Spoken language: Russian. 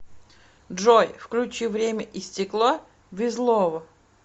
джой включи время и стекло визлово